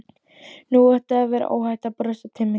Nú átti að vera óhætt að brosa til mín.